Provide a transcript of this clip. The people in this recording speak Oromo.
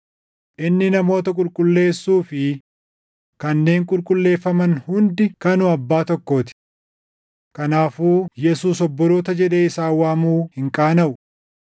Inni namoota qulqulleessuu fi kanneen qulqulleeffaman hundi kanuma abbaa tokkoo ti. Kanaafuu Yesuus obboloota jedhee isaan waamuu hin qaanaʼu.